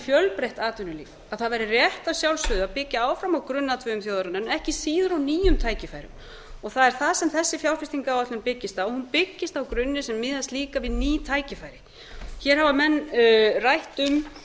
fjölþætt atvinnulíf það væri rétt að sjálfsögðu að byggja áfram á grunnatvinnuvegum þjóðarinnar en ekki síður á nýjum tækifærum og það er það sem þessi fjárfestingaráætlun byggist á hún byggist á grunni sem miðast líka við ný tækifæri hér hafa menn rætt um að